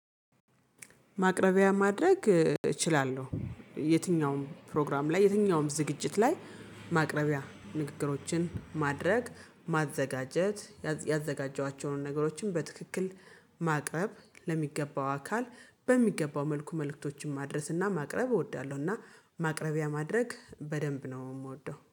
ማቅረቢያ ማድረግ እችላለሁ። የትኛውም ፕሮግራም ላይ የትኛውም ዝግጅት ላይ ማቅረቢያ ንግግሮችን ማድረግ ማዘጋጀት ያዘጋጀኋቸውን ነገሮችን በትክክል ማቅረብ ለሚገባው አካል በሚገባው መልኩ መልእክቶችን ማድረስና ማቅረብ እወዳለሁና። እና ማቅረቢያ ማድረግ በደንብ ነው ምወደው